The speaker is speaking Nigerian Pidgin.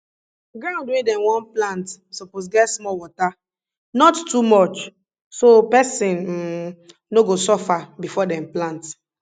ground wey dem wan plant suppose get small water not too much so person um no go suffer before dem plant